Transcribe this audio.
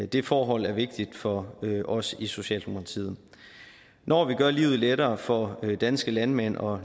det forhold er vigtigt for os i socialdemokratiet når vi gør livet lettere for danske landmænd og